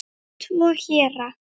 Tvo héra